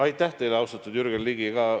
Aitäh teile, austatud Jürgen Ligi!